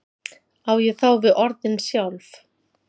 á ég þá við orðin sjálf